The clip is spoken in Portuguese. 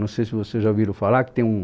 Não sei se vocês já ouviram falar que tem um...